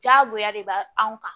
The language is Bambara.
Diyagoya de b'a anw kan